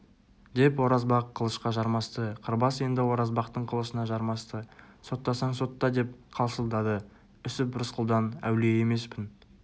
деп оразбақ қылышқа жармасты қырбас енді оразбақтың қылышына жармасты соттасаң-сотта деп қалшылдады үсіп рысқұлдан әулие емеспін